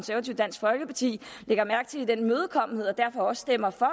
dansk folkeparti lægger mærke til den imødekommenhed og derfor stemmer for